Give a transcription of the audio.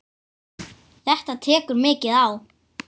Elska þig, alla tíð, alltaf.